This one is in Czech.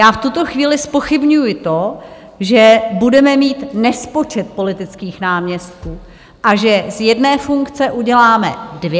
Já v tuto chvíli zpochybňuji to, že budeme mít nespočet politických náměstků a že z jedné funkce uděláme dvě.